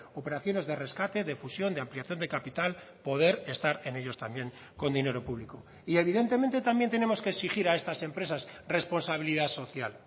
operaciones de rescate de fusión de ampliación de capital poder estar en ellos también con dinero público y evidentemente también tenemos que exigir a estas empresas responsabilidad social